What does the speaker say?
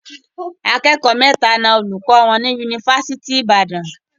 Akẹ́kọ̀ọ́ mẹ́ta na olùkọ́ wọn ní Yunifásitì Ìbàdàn.